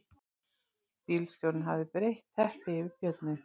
Bílstjórinn hafði breitt teppi yfir björninn